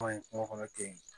kungo kɔnɔ ten